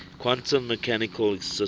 quantum mechanical systems